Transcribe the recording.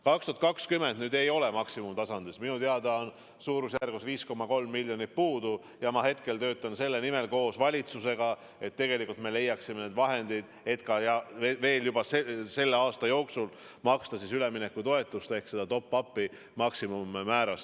2020. aastal maksimumtasemel ei maksta, minu teada on 5,3 miljonit puudu ja ma töötan selle nimel koos valitsusega, et me leiaksime raha, et veel selle aasta jooksul maksta üleminekutoetusi ehk top-up'e maksimummääras.